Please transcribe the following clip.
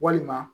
Walima